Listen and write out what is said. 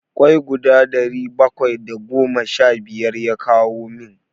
kwai guda ɗari bakwai da goma sha biyar ya kawo min.